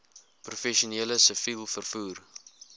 professioneel siviel vervoer